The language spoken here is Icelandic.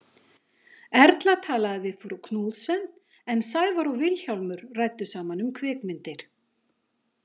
Erla talaði við frú Knudsen en Sævar og Vilhjálmur ræddu saman um kvikmyndir.